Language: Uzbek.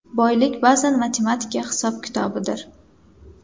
Boylik ba’zan matematika hisob-kitobidir.